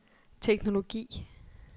teknologi